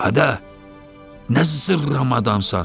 Adı, nə zırramadansan?